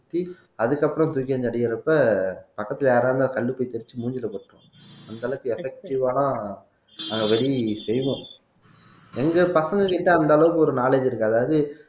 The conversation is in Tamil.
சுத்தி அதுக்கப்புறம் தூக்கி அந்த அடிக்கிறப்ப பக்கத்துல யாரா இருந்தா கல்லுப்பை தேச்சு மூஞ்சியில பட்டுரும் அந்த அளவுக்கு effective ஆன நாங்க வெடி செய்வோம் எங்க பசங்ககிட்ட அந்த அளவுக்கு ஒரு knowledge இருக்கு அதாவது